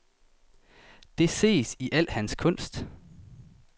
Det ses i al hans kunst.